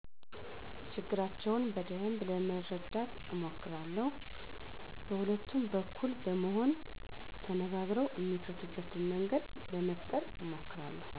ችግራቸውን በደንብ ለመረዳት አሞክራለው በሁለቱም በኩል በመሆን ተነጋግረው እሚፈቱበትን መንገድ ለመፈጠረ አሞክራለሁ